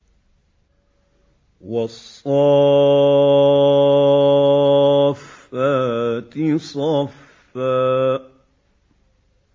وَالصَّافَّاتِ صَفًّا